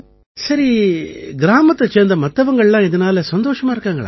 சரி கிராமத்தைச் சேர்ந்த மத்தவங்கல்லாம் இதனால சந்தோஷமா இருக்காங்களா